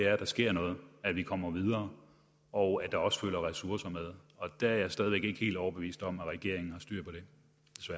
at der sker noget at vi kommer videre og at der også følger ressourcer med og det er jeg stadig væk ikke helt overbevist om at regeringen